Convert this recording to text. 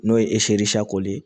N'o ye ye